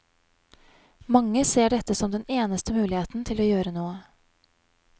Mange ser dette som den eneste muligheten til å gjøre noe.